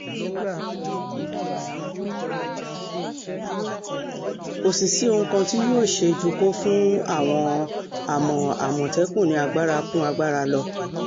kò sì sí ohun kan tí yóò ṣe ju kó fún àwọn àmọ́ àmọ̀tẹ́kùn ní agbára kún agbára lọ